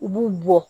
U b'u bɔ